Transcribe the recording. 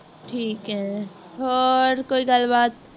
ਠੀਕ ਹੈ ਹੋਰ ਕੋਈ ਗੱਲ ਬਾਤ